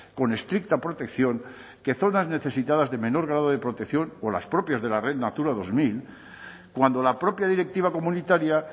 con estricta protección que zonas necesitadas de menor grado de protección o las propias de la red natura dos mil cuando la propia directiva comunitaria